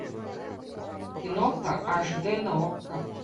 киноха аш д на окко